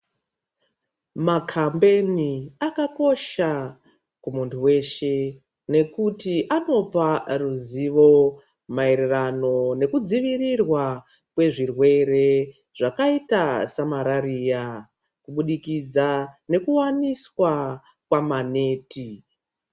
Makambeni akakosha kumuntu weshe nekuti anopa ruzivo maererano ngekudzivirirwa kwezvirwere zvakaita samarariya kubudikidza nekuwaniswa kwamaneti.